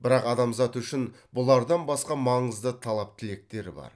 бірақ адамзат үшін бұлардан басқа маңызды талап тілектер бар